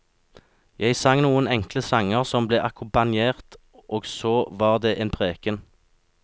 Jeg sang noen enkle sanger som ble akkompagnert, og så var det en preken.